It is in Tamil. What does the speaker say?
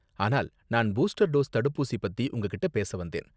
ஆனால் நான் பூஸ்டர் டோஸ் தடுப்பூசி பத்தி உங்ககிட்ட பேச வந்தேன்.